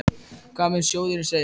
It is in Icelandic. Hvað mun sjóðurinn segja?